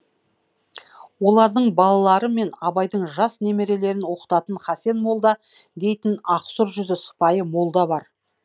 олардың балалары мен абайдың жас немерелерін оқытатын хасен молда дейтін ақсұр жүзді сыпайы молда бар